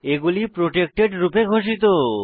এগুলি প্রটেক্টেড রূপে ঘোষিত